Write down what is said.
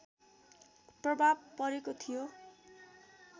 प्रभाव परेको थियो